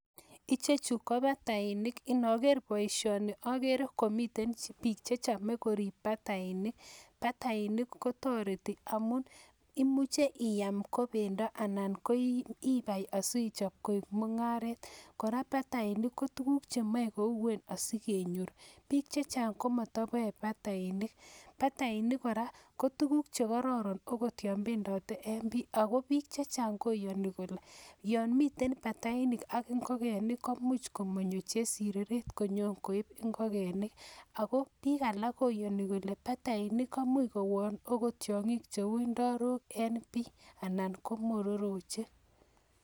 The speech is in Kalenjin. Ichechu ko batainik, inoger boisioni, ogere komiten bik che chome korib batainik. Batainik kotoreti amun, imuche iam ko bendo anan ko ibai asi ichob koik mung'aret. Kora batainik ko tuguk chemoe kouen asi kenyor, bik che chang ko motoboe batainik. Batainik kora ko tuguk che kororon ogot yon bendote en pii. Ago bik che chang koyoni kole yon miten batainik ak ingogenik koimuch komonyo chesireret konyo koib ingogenik. Ago bik alak koyoni kole batainik koimuch kowon agot tyong'ik cheu indorok en pii anan ko mororochek.